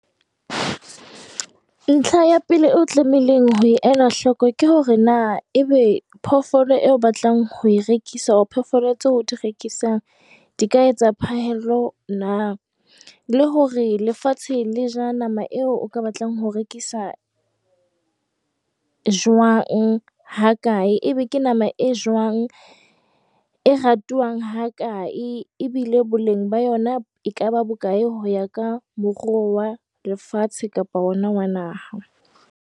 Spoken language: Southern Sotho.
Ntlha ya pele eo o tlameileng ho e ela hlooko ke hore na ebe phoofolo eo o batlang ho e rekisa or phoofolo tseo o di rekisang di ka etsa phahello na, le hore lefatshe le ja nama eo o ka batlang ho e rekisa jwang, ha kae, ebe ke nama e jwang, e ratuwang ha kae, ebile boleng ba yona e ka ba bo kae ho ya ka moruo wa lefatshe kapa ona wa naha.